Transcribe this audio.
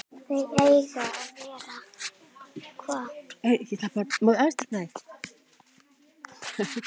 Þau eiga að vera